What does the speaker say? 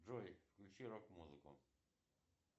джой включи рок музыку